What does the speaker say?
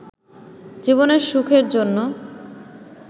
জীবনের সুখের জন্য